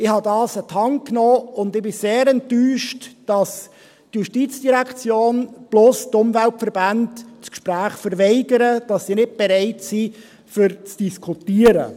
Ich nahm dies an die Hand, und ich bin sehr enttäuscht, dass die Justizdirektion plus die Umweltverbände das Gespräch verweigern und dass sie nicht bereit sind, zu diskutieren.